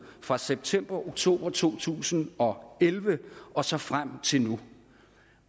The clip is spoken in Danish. fra september oktober to tusind og elleve og så frem til nu